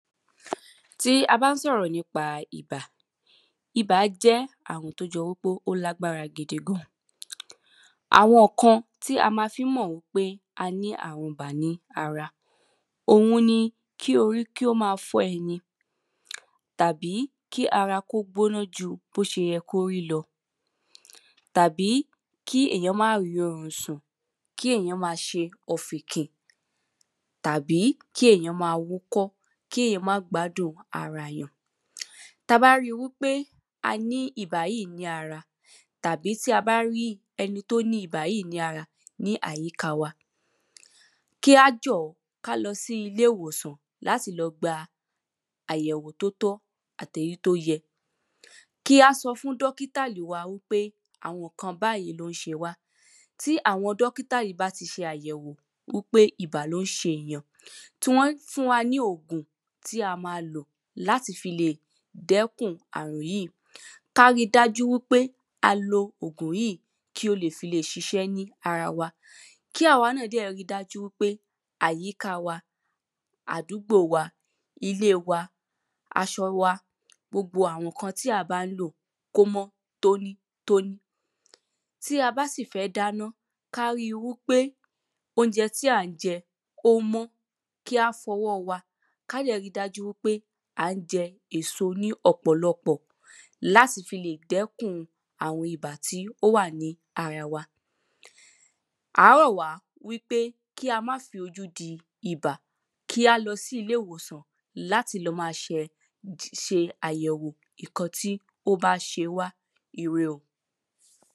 tí a ba ń sọ̀rọ̀ nípa ibà, ibà jẹ́ àrùn tí ó jọ wípé ó lágbára gidi gan àwọn ǹkan tí a má fi ń mọ̀ pé a ní àrùn ibà ní ara, òun ni kí orí kí ó máa fọ́ ẹni, tàbí kí ara kí ó gbóná jú bó ṣe yẹ kí ó rí lọ tàbí kí èyàn má ri orun sùn, kí èyàn máa ṣe ọ̀fìnkìn, tàbí kí èyàn máa wúkọ́, kí èyàn má gbádun ara èyàn táa bá ríi wípé a ní ibà yìí ní ara, tàbí tí a bá ri ẹni tí ó ní ibà yìí ní ara ní àyíka wa, kí á jọ̀ọ́ kí a lọ sí ilé-ìwòsàn láti lọ gba àyẹ̀wò tí ó tọ́ àti èyí tí ó yẹ Kí a sọ fún dọ́kìtà wa wípé àwọn ǹkan báyìí ni o ń ṣe wa. Tí àwọn dọ́kítà yìí bá ti ṣe àyẹ̀wò pé ibà ni ó ń ṣe èyàn, tí wọ́n fún wa ní ògùn tí a máa lò láti fi lè dẹ́kun àrùn yìí kí a ríi dájú wípé a lo ògùn yíì kí ó lè ṣiṣẹ́ ni ara wa Kí àwa náà dẹ̀ ríi dájú wípé àyíká wa, àdúgbo wa, ile wa, aṣọ wa, gbogbo àwọn ǹkan tí a bá ń lò kí ó mọ́ tónítóní tí a bá sì fẹ́ dáná kí a ríi wípé, óúnjẹ tí a jẹ ó mọ́, kí a fọ ọwọ́ wa, ká dẹ̀ ríi dájú wípé à ń jẹ èso ní ọ̀pọ̀lọpọ̀, láti fi lè dẹ́kun àrun ibà tí ó wà ní ara wa a rọ̀ wá wípé kí a má fi ojú di ibà, kí a lọ sí ilé ìwòsàn láti lọ máa ṣe àyẹ̀wò ǹkan tí ó ba ṣe wa. Ire o